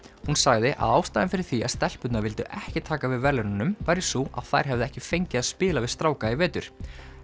hún sagði að ástæðan fyrir því að stelpurnar vildu ekki taka við verðlaununum væri sú að þær hefðu ekki fengið að spila við stráka í vetur